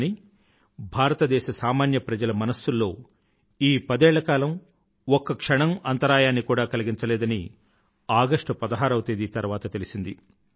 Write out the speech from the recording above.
కానీ భారతదేశ సామాన్య ప్రజల మనసుల్లో ఈ పదేళ్ల కాలం ఒక్క క్షణం అంతరాయాన్ని కూడా కలిగించలేదని ఆగస్టు పదహారవ తేదీ తర్వాత తెలిసింది